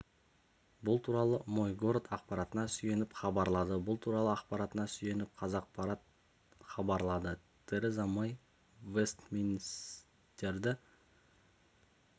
бұл туралы мой город ақпаратына сүйеніп хабарлады бұл туралы ақпаратына сүйеніп қазақпарат хабарлады тереза мэй вестминстерді